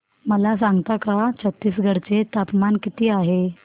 मला सांगता का छत्तीसगढ चे तापमान किती आहे